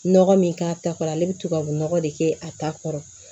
Nɔgɔ min k'a ta kɔrɔ ale bɛ tubabunɔgɔ de kɛ a ta kɔrɔ